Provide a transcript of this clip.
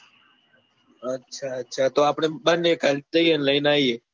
અચ્છા અચ્છા તો આપડે બંને કાલ જઈએ ને લઇ ને આવીએ